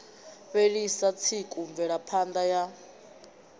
fhelisa tsiku mvelapha ṋda ya